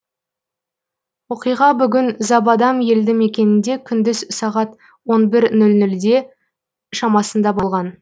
оқиға бүгін забадам елді мекенінде күндіз сағат он бір нөл нөлде шамасында болған